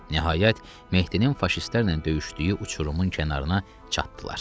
Nəhayət, Mehdinin faşistlərlə döyüşdüyü uçurumun kənarına çatdılar.